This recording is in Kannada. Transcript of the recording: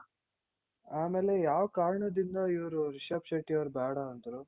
ಆಮೇಲೆ ಯಾವ್ ಕಾರಣದಿಂದ ಇವ್ರು ರಿಷಬ್ ಶೆಟ್ಟಿಯವರು ಬೇಡ ಅಂದ್ರು.